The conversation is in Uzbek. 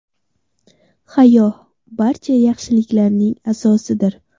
Hayo barcha yaxshiliklarning asosidir.